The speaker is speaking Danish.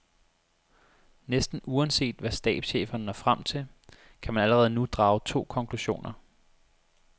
Næsten uanset hvad stabscheferne når frem til, kan man allerede nu drage to konklusioner.